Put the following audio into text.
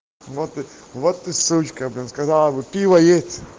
вот ты вот ты сучка блин сказала бы пиво есть